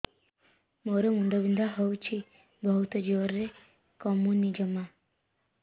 ମୋର ମୁଣ୍ଡ ବିନ୍ଧା ହଉଛି ବହୁତ ଜୋରରେ କମୁନି ଜମା